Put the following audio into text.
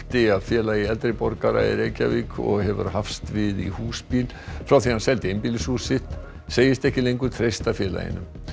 af Félagi eldri borgara í Reykjavík og hefur hafst við í húsbíl frá því hann seldi einbýlishús sitt segist ekki lengur treysta félaginu